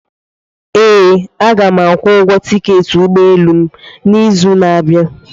Ee, Aga m akwụ ụgwọ tiketi ụgbọ elu m n'izu na-abịa.